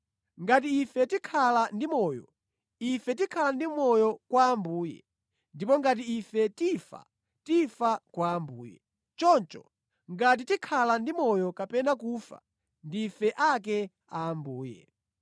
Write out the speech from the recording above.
Ngati ife tikhala ndi moyo, ife tikhala ndi moyo kwa Ambuye. Ndipo ngati ife tifa, tifa kwa Ambuye. Choncho, ngati tikhala ndi moyo kapena kufa, ndife ake a Ambuye.